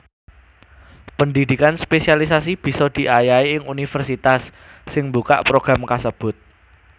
Pendhidhikan spesialiasi bisa diayahi ing universitas sing mbuka program kasebut